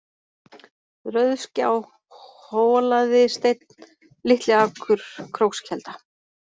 Rauðsgjá, Holaðisteinn, Litliakur, Krókskelda